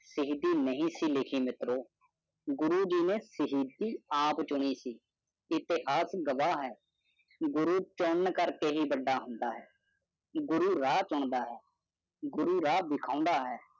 ਸਾਈਂ ਤੀ ਨਹੀਂ ਸੀ ਮਿਤਰਾਂ ਗੁਰੂ ਗਿਆਨ ਥਾ ਆਪ ਚੂੜੀ ਸੇ ਕਿਉ ਕੀ ਆਪ ਸਾਖੀ ਕੀ ਗੁਰੂ ਕਾ ਕੰਮ ਹੀ ਬੰਦ ਅਹੰੁਦਾ ਹੈ ਗੁਰੂ ਰਾਹ ਚੂੰਦਾ ਹੈ ਗੁਰੂ ਦਰਸਾਏ ਮਾਰਗ